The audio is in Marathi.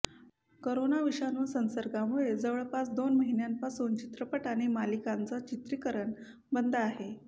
कोरोना विषाणू संसर्गामुळे जवळपास दोन महिन्यांपासून चित्रपट आणि मालिकांचं चित्रीकरण बंद आहे